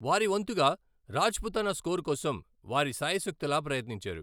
వారి వంతుగా, రాజ్పుతానా స్కోర్ కోసం వారి శాయశక్తులా ప్రయత్నించారు.